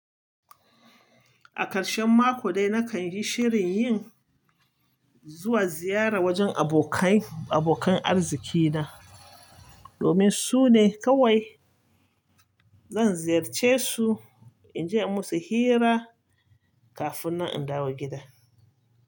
A karshen mako dai, nakan yi shirin yin zuwa ziyara wajen abokan, abokan arziki na. Domin su ne kawai zan ziyarce su in je in musu hira kafin na in dawo gida.